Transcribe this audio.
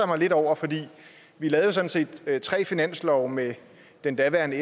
mig lidt over for vi lavede sådan set tre finanslove med den daværende